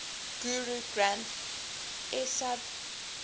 guru granth sahib